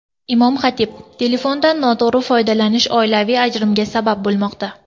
Imom-xatib: Telefondan noto‘g‘ri foydalanish oilaviy ajrimga sabab bo‘lmoqda.